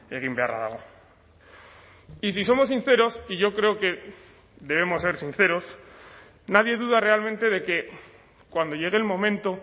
egin beharra dago y si somos sinceros y yo creo que debemos ser sinceros nadie duda realmente de que cuando llegue el momento